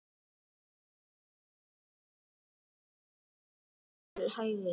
Glerhallur til vinstri og agat til hægri.